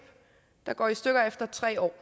der går i stykker efter tre år